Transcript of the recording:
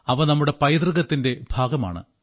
അവ നമ്മുടെ പൈതൃകത്തിന്റെ ഭാഗമാണ്